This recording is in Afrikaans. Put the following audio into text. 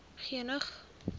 geneig